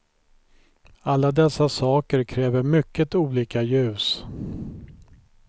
Alla dessa saker kräver mycket olika ljus.